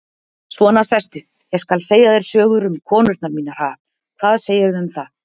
Svona, sestu, ég skal segja þér sögur um konurnar mínar, ha, hvað segirðu um það?